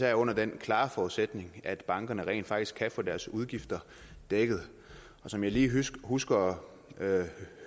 er under den klare forudsætning at bankerne rent faktisk kan få deres udgifter dækket som jeg lige husker